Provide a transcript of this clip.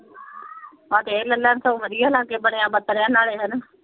ਆਹੋ ਤੇ ਇਹ ਲੈ ਲੈਣ ਸਗੋਂ ਵਧੀਆ ਲਾਗੇ ਬਣਿਆ ਨਾਲੇ ਹਣਾ।